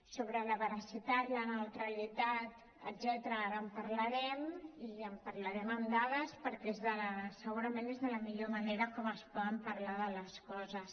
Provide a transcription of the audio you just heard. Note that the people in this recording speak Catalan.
sobre la veracitat la neutralitat etcètera ara en parlarem i en parlarem amb dades perquè segurament és de la millor manera que es pot parlar de les coses